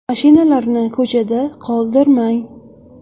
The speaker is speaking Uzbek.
Mashinalarni ko‘chada qoldirmang.